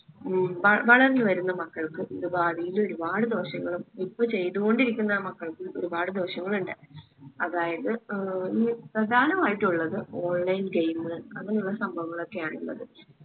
ഉം വ വളർന്നു വരുന്ന മക്കൾക്ക് ഇത് ഭാവിയില് ഒരുപാട് ദോഷങ്ങളും ഇപ്പൊ ചെയ്തുകൊണ്ടിരിക്കുന്ന മക്കൾക്ക് ഒരുപാട് ദോഷങ്ങളുണ്ട്. അതായത് ഏർ പ്രധാനമായിട്ടുള്ളത് online game അങ്ങനെയുള്ള സംഭവങ്ങളൊക്കെ ആണ് ഇള്ളത്